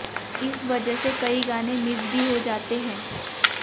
इस वजह से कई गाने मिस भी हो जाते हैं